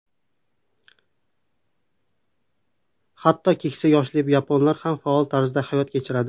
Hatto keksa yoshli yaponlar ham faol tarzda hayot kechiradi.